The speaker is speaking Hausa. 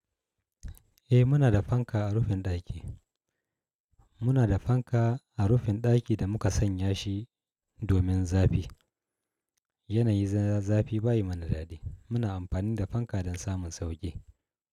Eh muna da fanka a rufin ɗaki. Muna da fanka a rufin ɗaki da muka sanya shi domin zafi. Yanayi za fi bayi mana daɗi. Muna amfani da fanka don samun sauƙi.